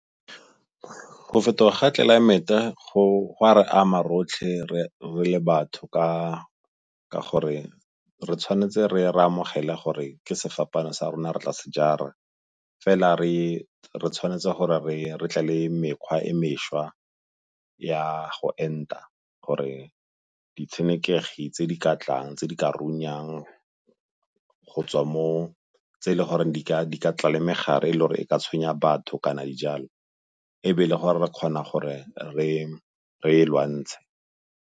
Go fetoga ga tlelaemete go a re ama rotlhe re le batho ka gore re tshwanetse re amogela gore ke sefapano sa rona re tlase jara. Fela re tshwanetse gore re tla le mekgwa e mešwa ya go enta gore ditshenekegi tse di ka tlang, tse di ka runyang go tswa mo tse e le goreng di ka tla le megare e e le gore e ka tshwenya batho kana dijalo e be e le gore re kgona gore re e lwantshe.